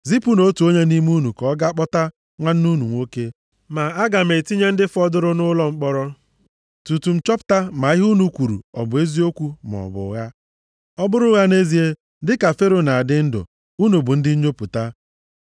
Zipụnụ otu onye nʼime unu ka ọ gaa kpọta nwanne unu nwoke. Ma aga m etinye ndị fọdụrụ nʼụlọ mkpọrọ, tutu m chọpụta ma ihe unu kwuru ọ bụ eziokwu maọbụ ụgha. Ọ bụrụ ụgha nʼezie, dịka Fero na-adị ndụ, unu bụ ndị nnyopụta.”